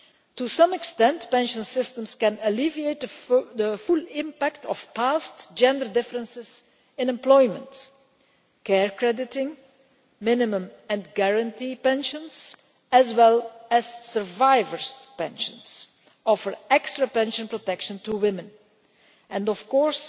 To some extent, pension systems can alleviate the full impact of past gender differences in employment care crediting, minimum and guaranteed pensions and survivor's pensions all offer extra pension protection to women and, of course,